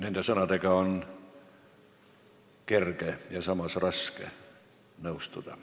Nende sõnadega on kerge ja samas raske nõustuda.